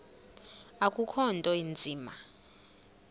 akukho nto inzima